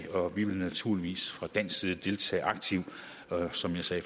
og vi vil naturligvis fra dansk side deltage aktivt som jeg sagde